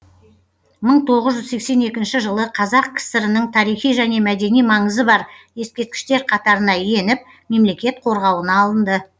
мың тоғыз жүз сексен екінші жылы қазақ кср нің тарихи және мәдени маңызы бар ескерткіштер қатарына еніп мемлекет қорғауына алынды